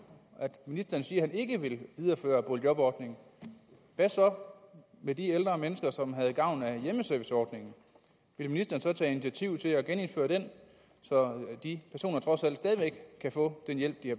siger at han ikke vil videreføre boligjobordningen hvad så med de ældre mennesker som havde gavn af hjemmeserviceordningen vil ministeren tage initiativ til at genindføre den så de personer trods alt stadig væk kan få den hjælp de